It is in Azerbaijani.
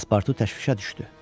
Paspartu təşvişə düşdü.